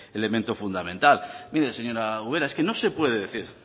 elemento fundamental mire señora ubera es que no se puede decir